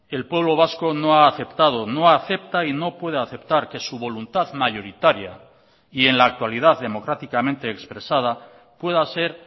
el pueblo vasco no ha aceptado no acepta y no puede aceptar que su voluntad mayoritaria y en la actualidad democráticamente expresada pueda ser